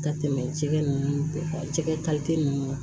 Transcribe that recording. Ka tɛmɛ cɛ nunnu kan cɛ nunnu